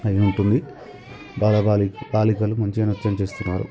అయ్యుంటుంది బాల బాలికలు మంచిగా నృత్యం చేస్తున్నారు.